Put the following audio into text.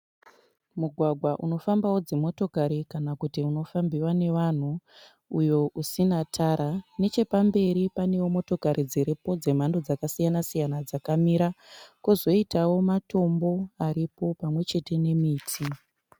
Mugwagwa unofambawo dzimotokari kana kuti unofambiwa nevanhu uyo usina tara. Nechepamberi panewo motokari dziripo dzemhando dzakasiyana- siyana dzakamira kwozoitawo matombo aripo pamwe chete nemiti.